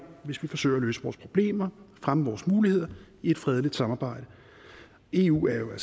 hvis vi forsøger at løse vores problemer og fremme vores muligheder i et fredeligt samarbejde eu er jo